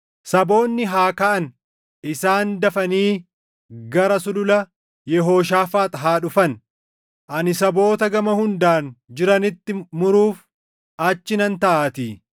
“Saboonni haa kaʼan; isaan dafanii gara Sulula Yehooshaafaax haa dhufan; ani saboota gama hundaan jiranitti muruuf achi nan taaʼaatii.